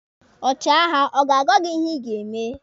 Ọchịagha ọ ga-agwa gị ihe ị ga-eme?